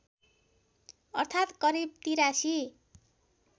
अर्थात् करिब ८३